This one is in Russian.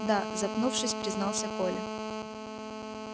да запнувшись признался коля